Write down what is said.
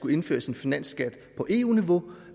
indført en finansskat på eu niveau